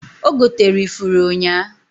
Ogotere ifuru ụnya.